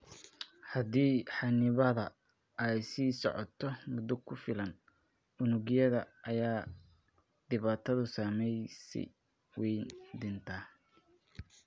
Haddii xannibaadda ay sii socoto muddo ku filan, unugyada aagga ay dhibaatadu saameysey way dhintaan.